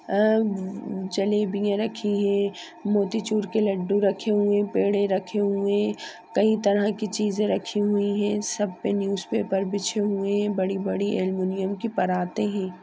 अ जलेबियाँ रखी हैं मोतीचूर के लड्डू रखे हुए पेड़े रखे हुए हैं कई तरह के चीजे रखी हुई हैं सब पे न्यूज पेपर बिछे हुए हैं बड़ी-बड़ी एल्युमियम की पराते हैं।